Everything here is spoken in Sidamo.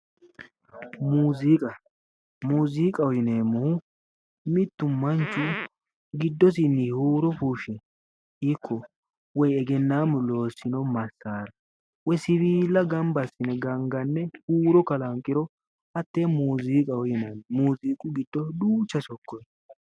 Muziiqa, muziiqa yinneemmohu mitu manni giddosini huuro fushshe woyi ikko egennammu loossino masaara woyi siwilla gamba assine gangane huuro kalanqiro hate muziiqaho yinnanni, muziiqu giddo duucha sokka no